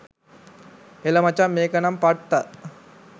එල මචං මේක නම් පට්ට